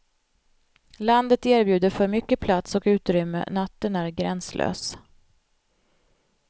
Landet erbjuder för mycket plats och utrymme, natten är gränslös.